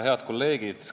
Head kolleegid!